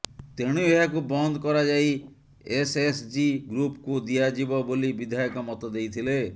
ତେଣୁ ଏହାକୁ ବନ୍ଦ କରାଯାଇ ଏସଏସଜି ଗ୍ରୁପକୁ ଦିଆଯିବ ବୋଲି ବିଧାୟକ ମତ ଦେଇଥିଲେ